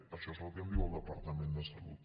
això és el que em diu el departament de salut